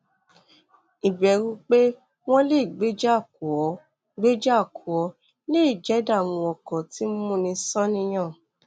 ìbẹ̀rù pé wọ́n lè gbéjà kò ọ́ gbéjà kò ọ́ lè jẹ ìdààmú ọkàn tí ń múni sáníyàn